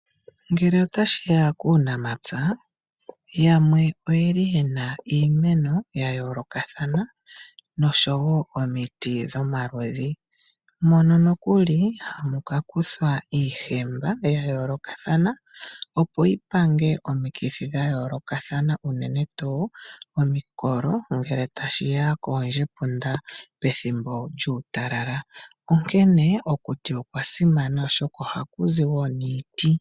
Ngele tashiya kuunampya yamwe oyeli yena iimeno ya yoolokathana noshowo omiti dhomaludhi. Mono nokuli hamu kakuthwa iihemba ya yoolakathana opo yipange omikithi dha yoolokathana unene tuu omikolo ngele tashiya koondjepunda pethimbo lyuutalala . Onkene okuti okwa simana oshoka ohaku zi wo niiti.